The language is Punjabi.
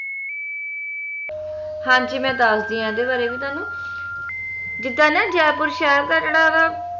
ਹਾਂਜੀ ਮੈਂ ਦੱਸਦੀ ਆ ਏਹਦੇ ਬਾਰੇ ਵੀ ਤੁਹਾਨੂੰ ਜਿੱਦਾਂ ਨਾ ਜੈਪੁਰ ਸ਼ਹਿਰ ਦਾ ਜੇਹੜਾ